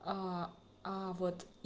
аа аа вот